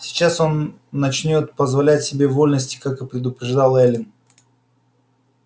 сейчас он начнёт позволять себе вольности как и предупреждала эллин